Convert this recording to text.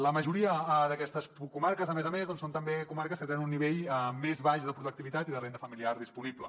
la majoria d’aquestes comarques a més a més doncs són també comarques que tenen un nivell més baix de productivitat i de renda familiar disponible